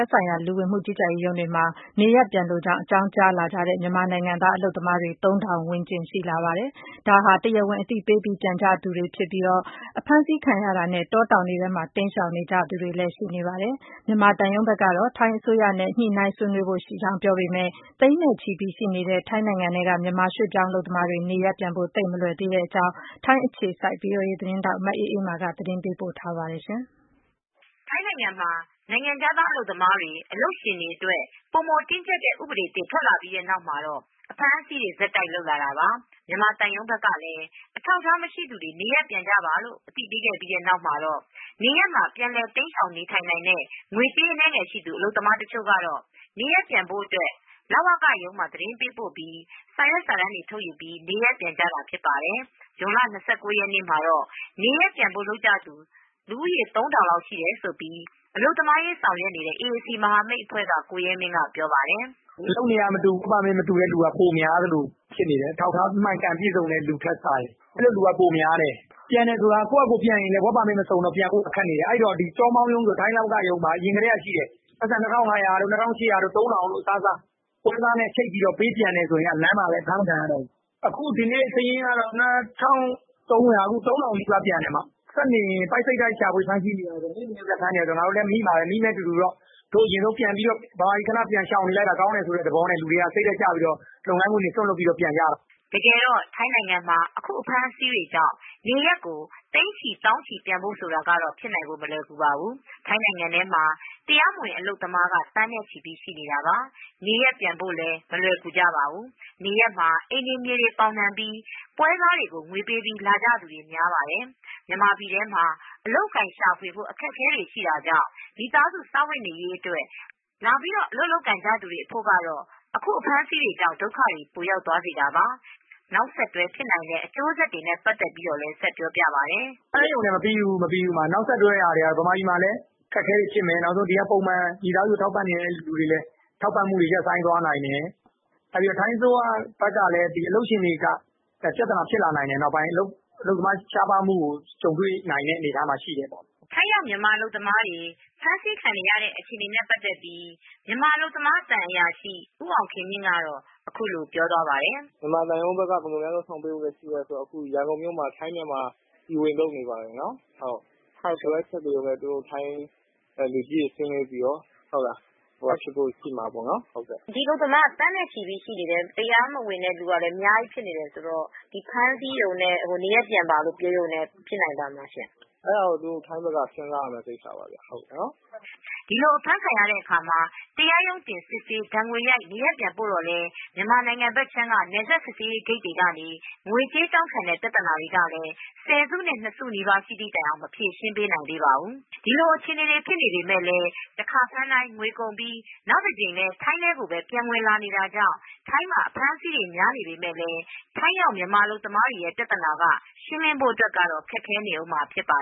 က်ဆိုင်ရာ လူဝန်မူကြီးကြပ်ရေးရုံးတွေမှာ နေရပ်ပြန်မဲ့ အကြောင်းကြားမူတွေက ဇွန်လ ၂၉ရက်နေ့ ကဆိုရင် လူ၃ထောင်လောက် ထိရှိလာတယ်လို့ဆိုပါတယ် ။ ဒါကတရားဝင်အသိပေးပြန်ကြသူတွေဖြစ်ပြီး တခြားလူတွေကတော့ အဖမ်းဆီးတွေနဲ့ တောတောင်ထဲ တိမ်းရှောင်နေတာမျိုးတွေ လုပ်နေတယ်လို့ ဆိုပါတယ်။ မြန်မာသံရုံးဘက်ကတော့ ထိုင်းအစိုးရနဲ့ ဆွေးနွေးညှိနှိုင်းဖို့ ရှိတယ်လို့ ဆိုပါတယ်။ အခုလို အဖမ်းဆီးတွေရှိနေမဲ့ မြန်မာတွေသောင်းနဲ့ သိန်းနဲချီပြီး နေရပ်ပြန်ဖို့ ကတော့သိပ်မလွယ်ကူ သေးပါဘူး။ အပြည့်အစုံကိုတော့ ထိုင်းအခြေစိုက် သတင်းထောက် မအေးအေးမာက သတင်းပေးပို့ထားပါတယ်။ ထိုင်းနိုင်ငံမှာ နိုင်ငံခြားသား အလုပ်သမားတွေ အလုပ်ရှင်တွေ အတွက် ပိုမိုတင်းကြပ်တဲ့ ဥပဒေသစ်ထွက်လာပြီးတဲ့ နောက်မှာတော့ အဖမ်းအဆီးတွေ ဆက်တိုက်လုပ်လာတာပါ။မြန်မာသံရုံးဘက်ကလည်း အထောက်အထားမရှိသူတွေ နေရပ်ပြန်ကြပါလို့ပဲ အသိပေးခဲ့ပြီး တဲ့နောက်မှာတော့ နေရပ်မှာ ပြန်လည်တိမ်းရှောင်နေထိုင်နိုင်တဲ့ ငွေကြေးအနည်းငယ်ရှိသူ အလုပ်သမားတချိုကတော့ နေရပ်ပြန်ဖို့အတွက် လဝကရုံးမှာ သတင်းပေးပို့ပြီး စာရွက်စာတမ်းတွေ ထုတ်ယူ နေရပ်ပြန်တာဖြစ်ပါတယ်။ ဇွန်လ ၂၉ရက်နေ့မှာ နေရပ်ပြန်ဖို့ လုပ်ကြသူ တွေ၃ထောင်လောက် ရှိတယ်လို့အလုပ်သမားရေး ဆောင်ရွက်နေတဲ့ အေအေစီမဟာမိတ်အဖွဲ့က ကိုရဲမင်းကပြောပါတယ်။ “အလုပ်တွေကမတူဘူး၊ Work permit မစုံတဲ့လူတွေက ပိုများသလိုဖြစ်နေတယ် ၊ အထောက်အထားမှန်ကန်ပြည့်စုံတဲ့လူထက်စာရင် ။ ပြန်တယ်ဆိုတာကလည်း Work permit မစုံတော့ ပြန်ဖို့ ခက်နေတယ်။ အဲဒီတော့ ထိုင်းလဝက ရုံးမှာ အရင်ကတည်းကရှိတယ်။ ပိုက်ဆုံ ၂၅၀၀ တို့၊ ၂၈၀၀ တို့ ၊ ၃၀၀၀ တို့ အစားစား ။ ပွဲစားနဲ့ ချိတ်ပြီးတော့ ပြန်မယ်ဆိုရင်လည်း လမ်းမှာလည်း အဖမ်းခံရနိုင်တယ်။ အခုဒီနေ့ စာရင်းကတေ့ ၃၀၀၀ နီးပါးပြန်တယ်အမ။ ဆက်နေရင် ပိုက်စိပ်တိုက်ရှာဖွေဖမ်းဆီးတော့ မိမှာပဲ၊ မိမယ့်အတူတူတော့ မြန်မာပြည်ခဏပြန်ရှောင်နေလိုက်တာ ကောင်းတယ်ဆိုတဲ့သဘောနဲ့ လူတွေက စိတ်ဓါတ်ကျပြီးတော့ လုပ်ငန်းခွင်တွေ စွန့်ပြီးတော့ ပြန်ကြတာ။” တကယ်တော့ထိုင်းနိုင်ငံမှာ အခုအဖမ်းဆီးကြောင့်နေရပ်ကို သိန်းချီ၊ သောင်းနဲ့ချီပြန်ဖို့ဆိုတာကတော့ ဖြစ်နိုင်ဖို့ မလွယ်ကူပါဘူး။ ထိုင်းနိုင်ငံထဲမှာ တရားမဝင်အလုပ်သမားက သန်းနဲ့ချီရှိနေတာပါ။ နေရပ်မှာ အိမ်တွေ မြေတွေပေါင်နှံပြီး ပွဲစားကိုငွေပေးလာကြသူတွေများပါတယ်။ မြန်မာပြည်ထဲမှာ အလုပ်အကိုင်ရှာဖွေဖို့ အတွက် ခက်ခဲတာကြောင့် မိသားစုစားဝတ်နေရေးအတွက် လာလုပ်ကိုင်ကြသူတွေအဖို့ ကတော့ အခုအဖမ်းအဆီးကြောင့် ဒုက္ခတွေပိုရောက်သွားစေတာပါ။ နောက်ဆက်တွဲဖြစ်နိုင်တဲ့အကျိုးဆက်တွေနဲ့ ပတ်သက်ပြီးဆက်ပြောပြပါတယ်။ “ဖမ်းရုံနဲ့ မပြီးဘူးအမ နောက်ဆက်တွဲကတော့ မြန်မာပြန်မှာလည်း အခက်အခဲတွေဖြစ်မယ်။ မိသားစုတွေကို ထောက်ပံ့နေတဲ့လူတွေအတွက်လည်း ထောက်ပံ့မှုတွေရပ်သွားနိုင်တယ်။ ထိုင်းအစိုးရဘက်ကလည်း အလုပ်ရှင်တွေက ပြဿနာ ဖြစ်လာနိုင်တယ်။ အလုပ်သမားရှားပါးမှုကို ကြုံနိုင်တဲ့အနေအထားရှိတယ်ပေါ့နော်။” ထိုင်းရောက် မြန်မာအလုပ်သမားတွေ အဖမ်းဆီးခံနေရတဲ့ အခြေအနေနဲ့ ပတ်သက်လို့ မြန်မာအလုပ်သမား သံအရာရှိဦးအောင်ခင်မြင့်ကတော့အခုလိုပြောသွားပါတယ် “မြန်မာသံရုံးက ဘယ်လိုလုပ်ဆောင်မလဲဆိုတော့ အခုရန်ကုန်မှာ ထိုင်း-မြန်မာ အစည်းအဝေးလုပ်နေပါတယ်နော်။ သူတို့လူကြီးတွေ ဆွေးနွေးပြီးတော့အဖြေရှာမှာပေါ့နော်။ မေး။ ။ အလုပ်သမားတွေက သန်းနဲ့ချီပြီးရှိနေတယ်။ တရားမဝင်တဲ့လူက အများကြီးဖြစ်နေတယ်ဆိုတော့ ဖမ်းဆီးရုံနဲ့ နေရပ်ပြန်ပါလို့ ပြောတာနဲ့ ဖြစ်နိုင်မလားရှင့်။ ဖြေ။ ။အဲဒါကိုတော့ ထိုင်းဘက်က စဉ်းစားရမယ့် ကိစ္စပါခင်ဗျ။” ဒိလိုအဖမ်းခံရတဲ့အခါတရားရုံးတင် စစ်ဆေးဒဏ်ငွေရိုက် နေရပ်ပြန်ပို့တော့လည်း မြန်မာနိုင်ငံဘက်ခြမ်းက နယ်စပ်စစ်ဆေးရေးဂိတ်တွေကနေ ငွေကြေးတောင်းခံတဲ့ပြဿနာ ကလည်းဆယ်စုနှစ် ၂စုနီးပါးရှိတဲ့ တိုင်အောင်မဖြေရှင်းပေးနိုင်သေးပါဘူး ။ ဒီလိုအခြေအနေတွေဖြစ်ပေမဲ့လည်း တခါဖမ်းတိုင်း ငွေကုန်ပြီး နောက်တကြိမ် ထိုင်းထဲကိုပဲ ပြန်ဝင်လာနေတာကြောင့် ထိုင်းမှာ အဖမ်းအဆီးတွေများပေမယ့် ထိုင်းရောက်မြန်မာအလုပ်သမားတွေ ပြဿနာကတော့ ရှင်းလင်းဖို့ အတွက် ကတော့ ခက်ခဲနေမှာဖြစ်ပါ